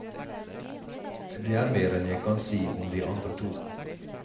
Det er mer enn jeg kan si om de andre to.